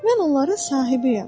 Mən onların sahibiyəm.